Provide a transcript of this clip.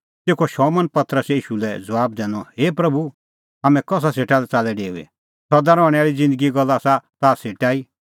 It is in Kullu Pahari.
तेखअ शमौन पतरसै ईशू लै ज़बाब दैनअ हे प्रभू हाम्हैं कसा सेटा लै च़ाल्लै डेऊई सदा रहणैं आल़ी ज़िन्दगीए गल्ला आसा ताह सेटा ई